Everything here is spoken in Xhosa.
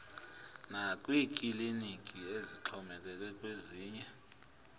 nakwiikliniki ezixhomekeke kwezinye